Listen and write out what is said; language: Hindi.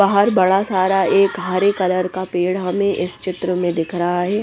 बाहर बड़ा सारा एक हरे कलर का पेड़ हमें इस चित्र में दिख रहा हैं।